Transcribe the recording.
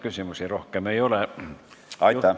Küsimusi rohkem ei ole.